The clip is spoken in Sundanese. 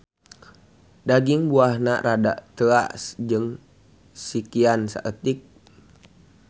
Daging buahna rada teuas jeung sikian saeutik.